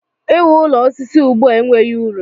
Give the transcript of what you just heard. I wu ụlọ osisi ugbua enweghị uru.